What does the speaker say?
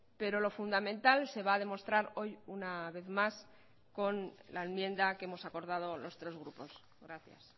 pero lo fundamental se va a demostrar hoy una vez más con la enmienda que hemos acordado los tres grupos gracias